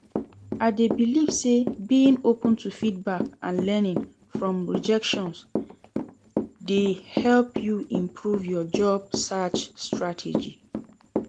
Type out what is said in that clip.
I dey believe say being open to feedback and learning from rejection dey help you improve your job search strategy.